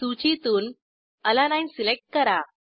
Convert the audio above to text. सूचीतून अलानीने सिलेक्ट करा